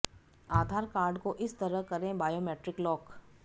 आधार card को इस तरह करें बायोमेट्रिक लॉक